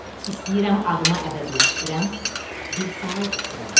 İstəyirəm adımı əbədiləşdirən bir saray tikdirəm.